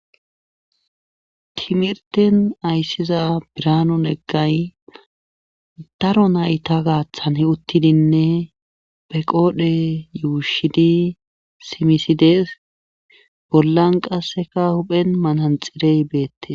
Timirtten aysiiza biraanu neggay daro nayta gaathan uttidinne be qoodhe ushidi simisi de7ees bollan qasseka huuphen mananxxirey beeteees.